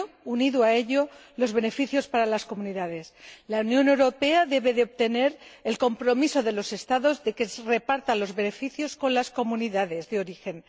y, unido a ello, los beneficios para las comunidades. La Unión Europea debe obtener el compromiso de los Estados de que se repartan los beneficios con las comunidades de origen